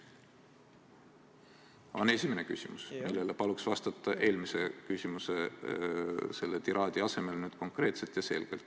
See on esimene küsimus, millele palun vastata eelmise küsimuse tiraadi asemel konkreetselt ja selgelt.